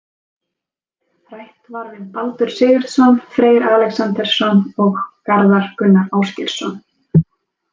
Rætt var við Baldur Sigurðsson, Freyr Alexandersson og Garðar Gunnar Ásgeirsson.